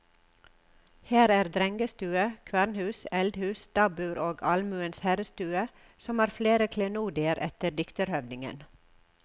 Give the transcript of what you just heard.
Her er drengestue, kvernhus, eldhus, stabbur og almuens herrestue, som har flere klenodier etter dikterhøvdingen.